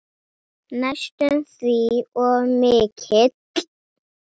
Og gekk það ekki vel.